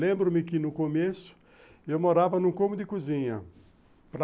Lembro-me que no começo eu morava num cômodo de cozinha.